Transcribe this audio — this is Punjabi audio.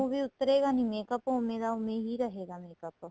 ਉਹ ਵੀ ਉੱਤਰੇਗਾ ਨਹੀਂ makeup ਉਹ ਔਵੇ ਦਾ ਔਵੇ ਹੀ ਰਹੇਗਾ makeup